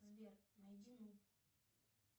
сбер найди